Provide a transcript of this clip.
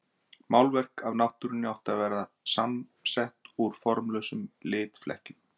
Málverk af náttúrunni átti að vera samsett úr formlausum litflekkjum.